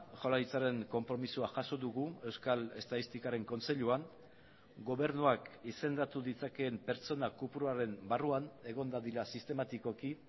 jaurlaritzaren konpromisoa jaso dugu euskal estatistikaren kontseiluan gobernuak izendatu ditzakeen pertsona kopuruaren barruan egon dadila sistematikoki